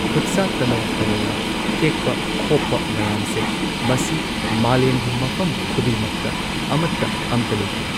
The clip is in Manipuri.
ꯈꯨꯠꯁꯥ ꯇꯅꯧ ꯇꯅꯧꯅ ꯊꯦꯛꯄ ꯈꯣꯄ ꯃꯌꯥꯝꯁꯦ ꯃꯁꯤ ꯃꯥꯂꯦꯝꯒꯤ ꯃꯐꯝ ꯈꯨꯗꯤꯡꯃꯛꯇ ꯑꯃꯠꯇ ꯑꯝꯇ ꯂꯩꯇꯦ꯫